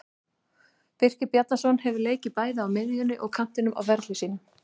Birkir Bjarnason hefur leikið bæði á miðjunni og kantinum á ferli sínum.